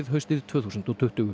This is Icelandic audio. haustið tvö þúsund og tuttugu